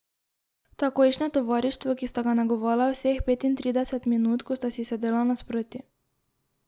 Takojšnje tovarištvo, ki sta ga negovala vseh petintrideset minut, ko sta si sedela nasproti.